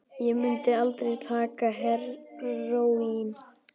Ég mundi aldrei taka heróín.